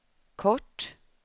kort